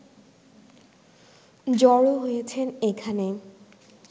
জড়ো হয়েছেন এখানে